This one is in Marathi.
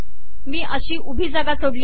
मी अशी उभी जागा सोडली आहे